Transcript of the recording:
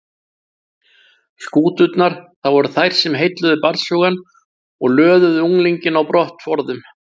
Skúturnar, það voru þær sem heilluðu barnshugann og löðuðu unglinginn á brott forðum